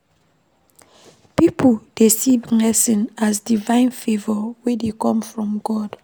Pipo dey see blessing as divine favour wey dey come from God